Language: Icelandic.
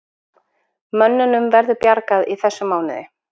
Mönnunum verður bjargað í þessum mánuði